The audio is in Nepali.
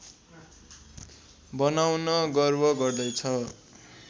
बनाउन गर्व गर्दैछ